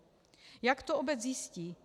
- Jak to obec zjistí?